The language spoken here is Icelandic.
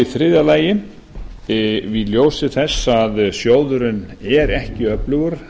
í þriðja lagi í ljósi þess að sjóðurinn er ekki öflugur